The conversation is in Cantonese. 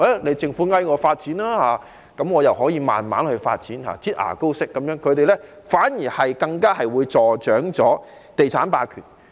待政府懇求他們參與發展時，他們才"擠牙膏"式慢慢發展，這樣會助長地產霸權。